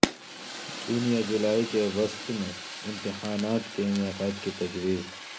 جون یا جولائی کے وسط میں امتحانات کے انعقاد کی تجویز